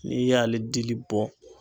N'i y'ale dili bɔ